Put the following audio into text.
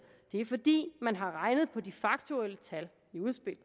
det er fordi man har regnet på de faktuelle tal i udspillet